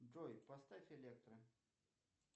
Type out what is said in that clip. джой поставь электро